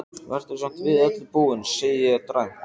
Vertu samt við öllu búin, segi ég dræmt.